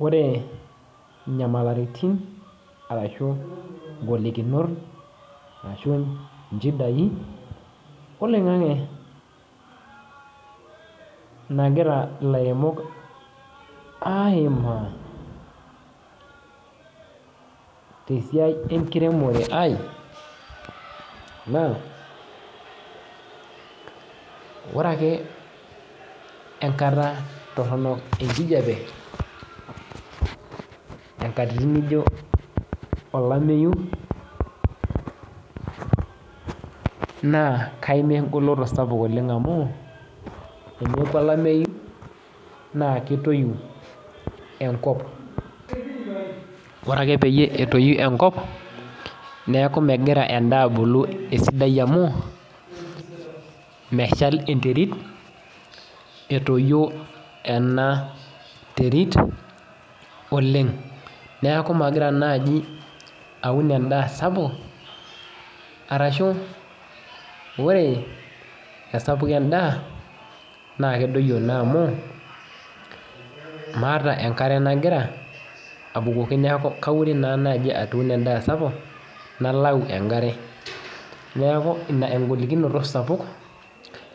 Ore inyamalitinbashu ngolikinot ashu nchidai oloingangi nagira ilaremok aimaa tesiai enkiremore aai na ore ake enkata toronok enkijape nkatitin nijo olameyu na kamaa engoloto sapuk amu ore olameyu na kitoyi enkop ore ake petoi enkop neaku megira endaa abulu esidai amu meshal enterit etoyio enterit oleng neaku magira naibaun endaa sapuk ashu ore esapuko endaa na kedoyio na amu meeta enkare napikita na kaure nye atipika endaa sapuk nalau enkare neaku ina engolikino sapuk